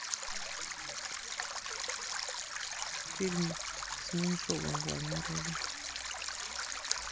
фильм с меньшовым в главной роли